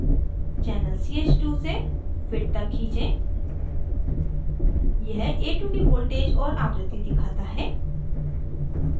channel ch2 से fit तक खींचें यह ch2 की voltage और आवृत्ति दिखाता है